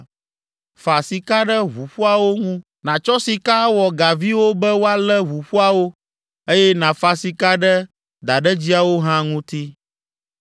Fa sika ɖe ʋuƒoawo ŋu nàtsɔ sika awɔ gaviwo be woalé ʋuƒoawo, eye nàfa sika ɖe daɖedziawo hã ŋuti.